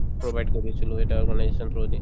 provide কৰিছিলো এটা organization through দি